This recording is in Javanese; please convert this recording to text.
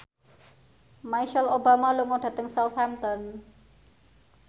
Michelle Obama lunga dhateng Southampton